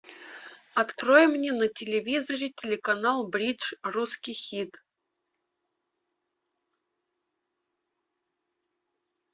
открой мне на телевизоре телеканал бридж русский хит